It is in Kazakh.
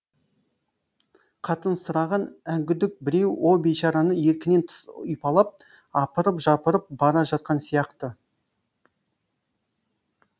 қатынсыраған әңгүдік біреу о бейшараны еркінен тыс ұйпалап апырып жапырып бара жатқан сияқты